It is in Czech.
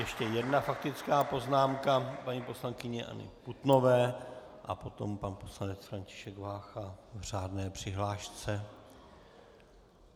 Ještě jedna faktická poznámka paní poslankyně Anny Putnové a potom pan poslanec František Vácha v řádné přihlášce.